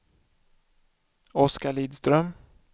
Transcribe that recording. Oskar Lidström